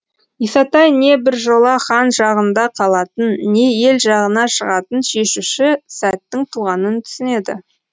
исатай не біржола хан жағында қалатын не ел жағына шығатын шешуші сәттің туғанын түсінеді